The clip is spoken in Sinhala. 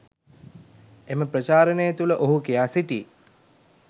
එම ප්‍රචාරණය තුළ ඔහු කියා සිටී.